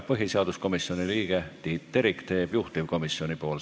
Põhiseaduskomisjoni liige Tiit Terik teeb ettekande juhtivkomisjoni nimel.